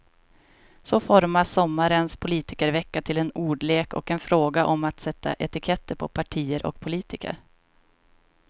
Så formas sommarens politikervecka till en ordlek och en fråga om att sätta etiketter på partier och politiker.